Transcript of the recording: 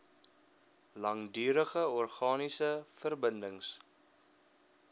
langdurige organiese verbindings